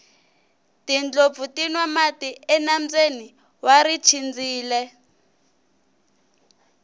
tindlopfu ti nwa mati enambyeni wa richindzile